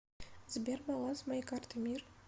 сбер баланс моей карты мир